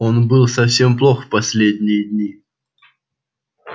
он был совсем плох последние дни